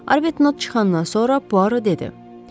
Arbetnot çıxandan sonra Puaro dedi.